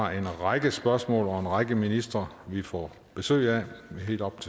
har en række spørgsmål og en række ministre vi får besøg af